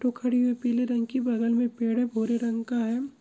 Auto खड़ी हुई है पिले रंग की बगल में पेड़ है भूरे रंग का है।